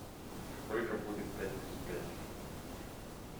сколько будет пять плюс пять